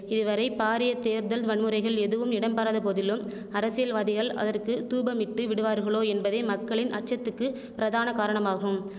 இதுவரை பாரிய தேர்தல் வன்முறைகள் எதுவும் இடம்பெறாத போதிலும் அரசியல்வாதிகள் அதற்கு தூபமிட்டு விடுவார்களோ என்பதே மக்களின் அச்சத்துக்கு பிரதான காரணமாகும்